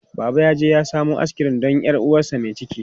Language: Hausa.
Baba yaje ya samo askirim don 'yar uwarsa mai ciki.